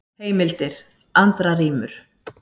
Heimildir: Andra rímur.